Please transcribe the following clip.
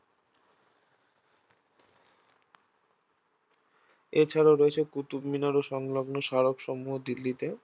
এছাড়াও রয়েছে কুতুব মিনার ও সংলগ্ন স্মারকসমূহ দিল্লিতে